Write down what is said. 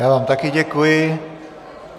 Já vám také děkuji.